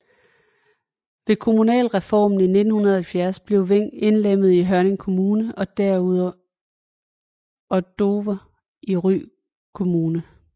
Ved kommunalreformen i 1970 blev Veng indlemmet i Hørning Kommune og Dover i Ry Kommune